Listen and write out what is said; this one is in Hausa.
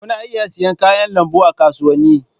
Kuna iya siyan kayan lambu a kasuwanni.